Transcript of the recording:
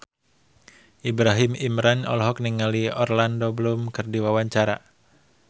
Ibrahim Imran olohok ningali Orlando Bloom keur diwawancara